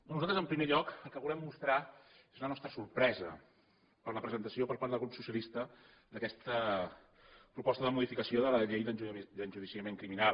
nosaltres en primer lloc el que volem mostrar és la nostra sorpresa per la presentació per part del grup socialista d’aquesta proposta de modificació de la llei d’enjudiciament criminal